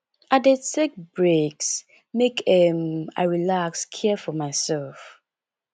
i dey take breaks make um i relax care for mysef